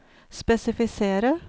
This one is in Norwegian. spesifisere